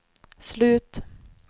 slut